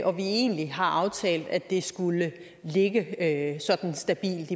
og vi egentlig har aftalt at det skulle ligge sådan stabilt